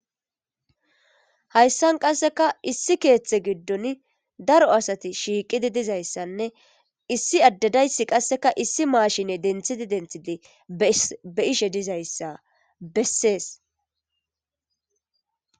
hayssan qasseka issi keeththe giddon daro asati shiiqidi dizayssanne issi addedaysi qasseka issi maashine denthidi denthidi be ishe dizayssa bessees